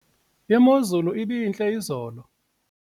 imozulu ibintle izolo